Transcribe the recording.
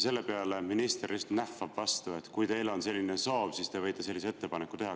Selle peale minister nähvas vastu, et kui teil on selline soov, siis te võite sellise ettepaneku teha.